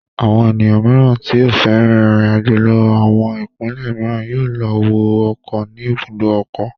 Àwọn ènìyàn mìíràn tí ó fẹ́ rin ìrìnàjò lọ àwọn ìpínlẹ̀ mìíràn yóò lọ wọ ọkọ̀ ní ibùdó ọkọ̀.